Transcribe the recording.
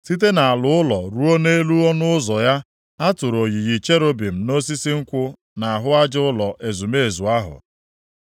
Site nʼala ụlọ ruo nʼelu ọnụ ụzọ ya, a tụrụ oyiyi cherubim na osisi nkwụ nʼahụ aja ụlọ ezumezu ahụ.